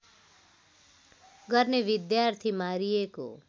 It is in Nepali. गर्ने विद्यार्थी मारिएको